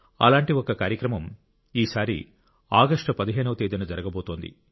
అలాంటి ఒక కార్యక్రమం ఈసారి ఆగస్టు 15 వ తేదీన జరగబోతోంది